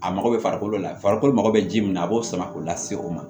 A mago bɛ farikolo la farikolo mago bɛ ji min na a b'o sama k'o lase o ma